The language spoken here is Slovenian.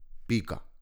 Pika.